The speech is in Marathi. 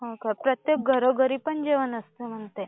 हो का? प्रत्येक घरोघरी पण जेवण असते म्हणते